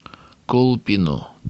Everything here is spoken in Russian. колпино